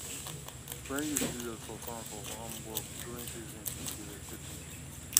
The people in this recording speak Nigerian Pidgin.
when youth serious for farm for farm work during season people dey respect dem